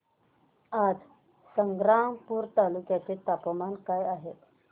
आज संग्रामपूर तालुक्या चे तापमान काय आहे